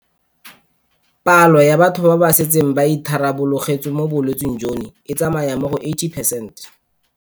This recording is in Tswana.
Palo ya batho ba ba setseng ba itharabologetswe mo bolwetseng jono e tsamaya mo go 80 percent.